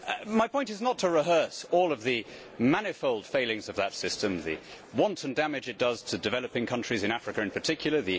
My point is not to rehearse all of the manifold failings of that system the wanton damage it does to developing countries, in Africa in particular